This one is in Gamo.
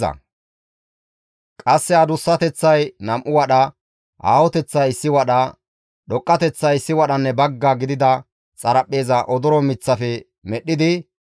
Qasse adussateththay nam7u wadha, aahoteththay issi wadha, dhoqqateththay issi wadhanne bagga gidida xaraphpheeza odoro miththafe medhdhidi,